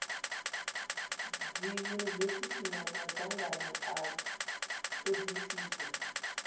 dziunivesithi na madzangano a thodisiso